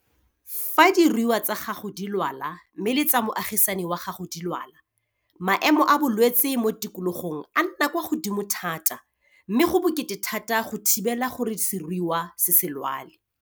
Fa diruiwa tsa gago di lwala mme le tsa moagisani wa gago di lwala, maemo a bolwetse mo tikologong a nna kwa godimo thata mme go bokete thata go thibela gore seruiwa se se lwale.